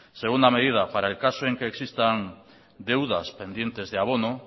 segunda medida para el caso en que existan deudas pendientes de abono